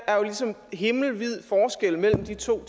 himmelvid forskel mellem de to